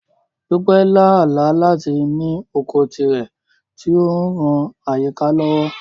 Dupe lá àlá láti ní oko tirẹ̀ tí ó ń ran àyíká lọ́wọ́.